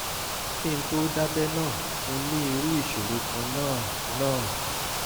kí n tó dábẹ́ náà mo ní irú ìṣòro kan náà náà